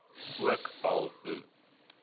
ook al hoe